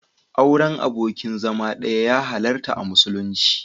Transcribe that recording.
Auren abokin zama ɗaya ya halarta a musulunci.